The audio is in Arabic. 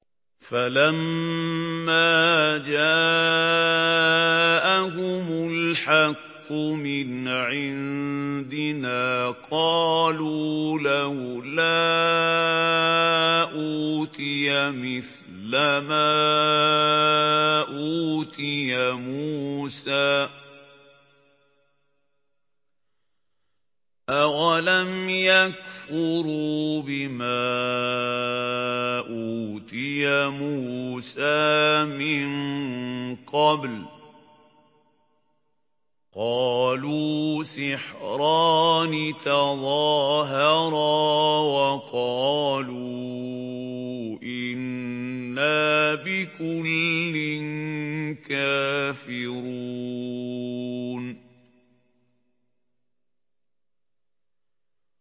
فَلَمَّا جَاءَهُمُ الْحَقُّ مِنْ عِندِنَا قَالُوا لَوْلَا أُوتِيَ مِثْلَ مَا أُوتِيَ مُوسَىٰ ۚ أَوَلَمْ يَكْفُرُوا بِمَا أُوتِيَ مُوسَىٰ مِن قَبْلُ ۖ قَالُوا سِحْرَانِ تَظَاهَرَا وَقَالُوا إِنَّا بِكُلٍّ كَافِرُونَ